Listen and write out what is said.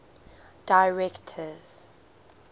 directors